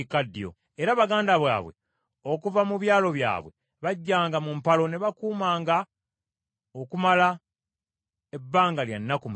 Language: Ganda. era baganda baabwe okuva mu byalo byabwe, bajjanga mu mpalo ne bakumanga okumala ebbanga kya nnaku musanvu.